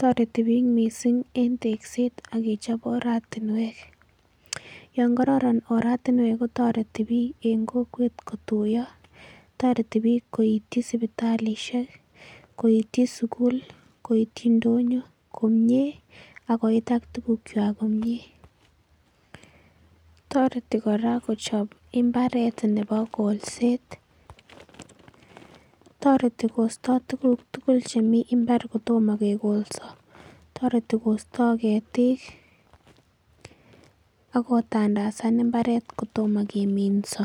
Tareti bik mising en tegset agechop oratinwek yangararanboratinwek kotareti bik en kokwet koiti sibitalishek ,koiti sugul,,koiti ndonyo komie akoit ak tugug chwak komie tareti koraa kochop imbaret Nebo kolset ako tareti Kosta tuguk tugul Chemiten imbar kotoma kekolsa akotareti kostae ketik akotandasan imbaret kotoma keminso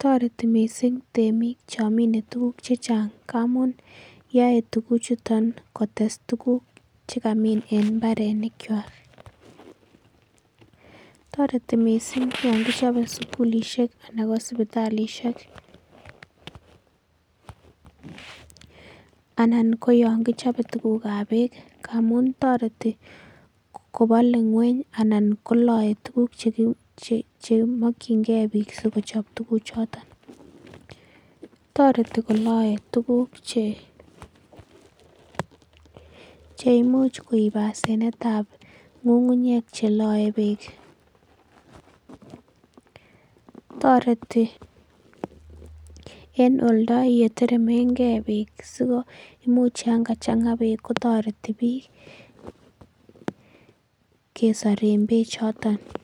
tareti mising temik chamine tuguk chechang ngamun yae tugug chuton kotes tuguk chekamin en imbarenik chwak tareti mising yangichope sugulishek anan ko sibitalishek anan ko yangichope tuguk ab bek amun tareti kobale ngweny anan kolae tuguk chemakingei bik sikochap tuguk choton tareti kolae tuguk Cheimuch koib asenet ab ngungunyek chelae bek tareti en oldo yeleteremen gei bek sikomuch yangachanga bek kotareti bik kesor en bek choton.